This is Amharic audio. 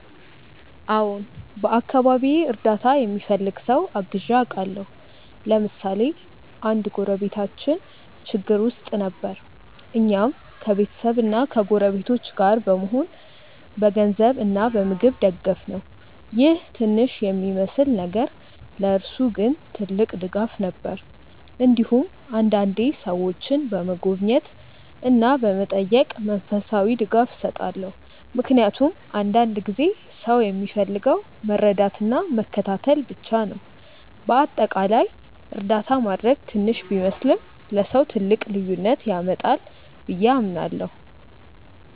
አዎን፣ በአካባቢዬ እርዳታ የሚፈልግ ሰው አግዤ አውቃለሁ። ለምሳሌ አንድ ጎረቤታችን ችግር ውስጥ ጊዜ ነበር፣ እኛም ከቤተሰብና ከጎረቤቶች ጋር በመሆን በገንዘብ እና በምግብ ደገፍነው ይህ ትንሽ የሚመስል ነገር ለእርሱ ግን ትልቅ ድጋፍ ነበር። እንዲሁም አንዳንዴ ሰዎችን በመጎብኘት እና በመጠየቅ መንፈሳዊ ድጋፍ እሰጣለሁ፣ ምክንያቱም አንዳንድ ጊዜ ሰው የሚፈልገው መረዳትና መከታተል ብቻ ነው። በአጠቃላይ እርዳታ ማድረግ ትንሽ ቢመስልም ለሰው ትልቅ ልዩነት ያመጣል ብዬ አምናለሁ።